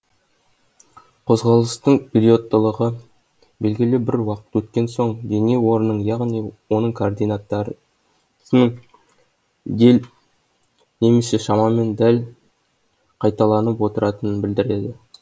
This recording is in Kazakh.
қозғалыстың периодтылығы белгілі бір уақыт өткен соң дене орнының яғни оның координаттарының дел немесе шамамен дәл қайталанып отыратынын білдіреді